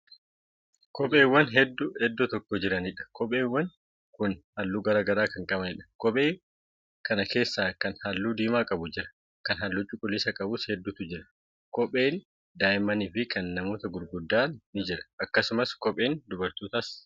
Kopheewwan hedduu iddoo tokko jiraniidha. kopheewwan Kuni halluu garagaraa Kan qabaniidha. kophee Kan keessa Kana halluu diimaa qabu jira. Kan halluu cuquliisa qabus hedduutu jira. Kopheen daa'immaniifi Kan namoota gurguddaa ni jira. akkasumas kopheen dubartootaa Jira.